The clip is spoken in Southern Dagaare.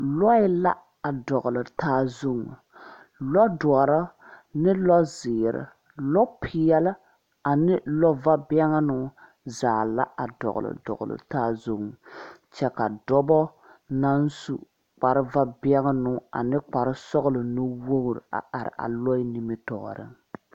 Lɔɛ la a dɔgle taa zu lɔ dɔre ne lɔ zeɛ lɔ peɛlaa ane lɔ va bɛŋnoŋ zaa la a dɔgle dɔgle yaa zu kyɛ ka dɔbɔ naŋ su kpare va bɛŋnoŋ ane kpare sɔglɔ nuwogre a are a lɔɛ nimitooreŋ.